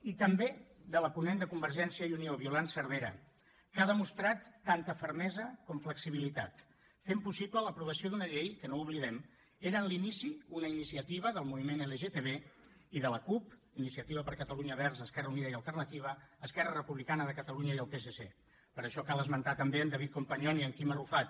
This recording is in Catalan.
i també de la ponent de convergència i unió violant cervera que ha demostrat tanta fermesa com flexibilitat fent possible l’aprovació d’una llei que no ho oblidem era en l’inici una iniciativa del moviment lgtb i de la cup iniciativa per catalunya verds esquerra unida i alternativa esquerra republicana de catalunya i el psc per això cal esmentar també en david companyon i en quim arrufat